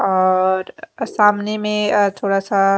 औौौर अ सामने में अ थोड़ा सा --